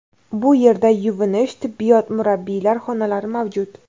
Bu yerda yuvinish, tibbiyot, murabbiylar xonalari mavjud.